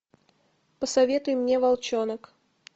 посоветуй мне волчонок